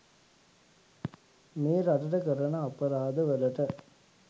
මේ රටට කරන අපරාද වලට.